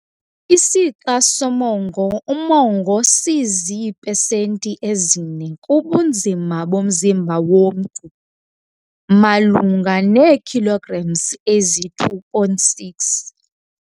Isixa somongo, umongo sizii-pesenti ezi-4 kubunzima bomzumba womntu, malunga nee-kilograms eziyi-2.6.